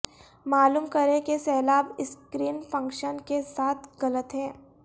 معلوم کریں کہ سیلاب اسکرین فنکشن کے ساتھ غلط ہیں